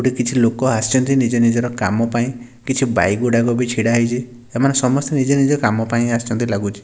କିଛି ଲୋକ ଆସଛନ୍ତି ନିଜ ନିଜର କାମ ପାଇଁ କିଛି ବାଇକ୍ ଗୁଡ଼ାକ ବି ଛିଡ଼ା ହେଇଚି ଏମାନେ ସମସ୍ତେ ନିଜ ନିଜର କାମ ପାଇଁ ଆସଛନ୍ତି ଲାଗୁଚି ।